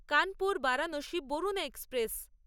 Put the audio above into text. Kanpur Varanasi Varuna express